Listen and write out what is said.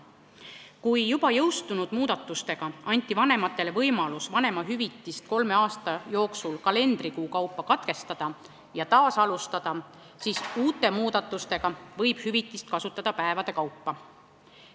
Kui juba jõustunud muudatustega anti vanematele võimalus vanemahüvitist kolme aasta jooksul kalendrikuu kaupa katkestada ja taas alustada, siis uute muudatuste alusel võib hüvitist kasutada päevade kaupa.